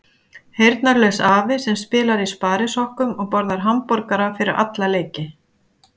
Heyrnarlaus afi sem spilar í sparisokkum og borðar hamborgara fyrir alla leiki.